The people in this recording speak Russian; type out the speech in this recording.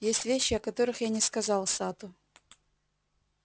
есть вещи о которых я не сказал сатту